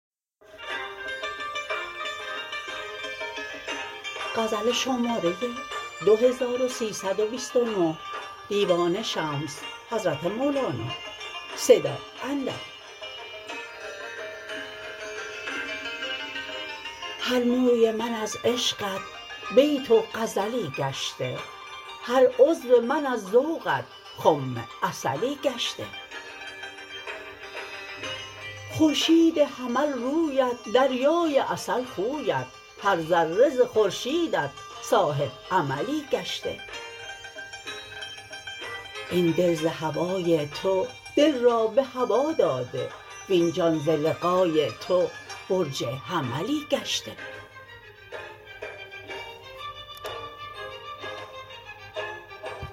هر موی من از عشقت بیت و غزلی گشته هر عضو من از ذوقت خم عسلی گشته خورشید حمل رویت دریای عسل خویت هر ذره ز خورشیدت صاحب عملی گشته این دل ز هوای تو دل را به هوا داده وین جان ز لقای تو برج حملی گشته